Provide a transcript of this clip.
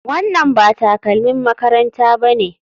Wannan ba takalmin makaranta bane.